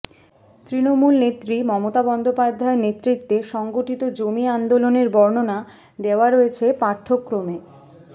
তৃণমূল নেত্রী মমতা বন্দ্যোপাধ্যায়ের নেতৃত্বে সংগঠিত জমি আন্দোলনের বর্ণনা দেওয়া রয়েছে পাঠ্যক্রমে